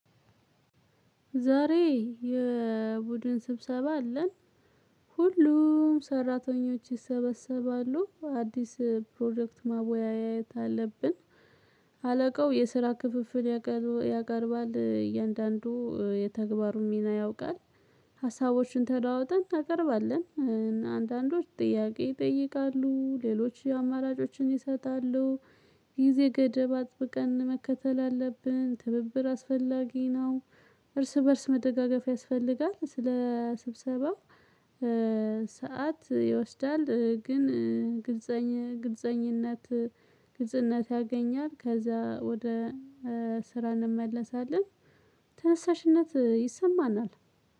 ዛሬ የቡድን ስብሰባ አለን። ሁሉም ሰራተኞች ይሰበሰባሉ። አዲስ ፕሮጀክት ማወያየት አለብን። አለቃው የስራ ክፍፍል ያቀር ያቀርባል። እያንዳንዱ የተግባሩን ሚና ያውቃል። ሀሳቦችን ተደዋወጠን እናቀርባለን። እና አንዳንዶች ጥያቄ ይጠይቃሉ፤ ሌሎች አማራጮችን ይሰጣሉ። ጊዜ ገደብ አጥብቀን መከተል አለብን። ትብብር አስፈላጊ ነው። እርስ በእርስ መደጋገፍ ያስፈልጋል። ስለ ስብሰባው ሰዓት ይወስዳል፤ ግን ግለጸኝ ግልፀኝነት ግልጽነት ያገኛል። ከዛ ወደ ስራ እንመለሳለን። ተነሳሽነት ይሰማናል።